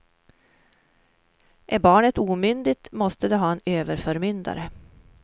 Är barnet omyndigt måste det ha en överförmyndare.